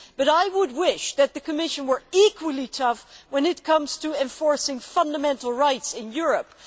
I wish, however, that the Commission were equally tough when it comes to enforcing fundamental rights in Europe.